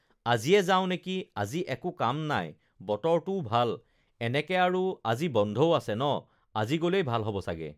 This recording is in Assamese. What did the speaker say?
আজিয়ে যাওঁ নেকি আজি একো কাম নাই বতৰটোও ভাল এনেকে আৰু আজি বন্ধও আছে ন আজি গ'লেই ভাল হ'ব চাগে